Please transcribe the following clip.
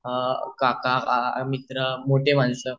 काका मित्र मोठी माणसं